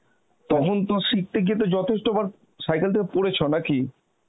তো শিখতে গিয়ে তো যথেষ্ট বার সাইকেল থেকে পড়েছো নাকি